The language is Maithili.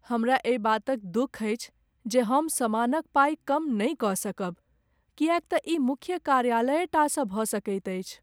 हमरा एहि बातक दुख अछि जे हम सामानक पाइ कम नहि कऽ सकब किएक तँ ई मुख्य कार्यालयेटा सँ भऽ सकैत अछि।